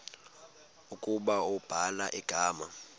ukuba ubhala igama